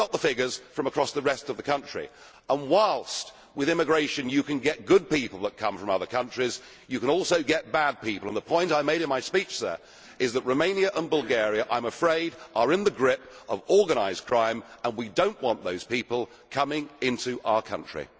We have not got the figures from across the rest of the country. Whilst with immigration you can get good people coming from other countries, you can also get bad people. The point I made in my speech is that I am afraid that Romania and Bulgaria are in the grip of organised crime. We do not want those people coming into our country.